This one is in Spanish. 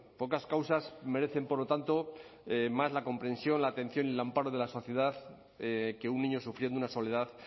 pocas causas merecen por lo tanto más la comprensión la atención y el amparo de la sociedad que un niño sufriendo una soledad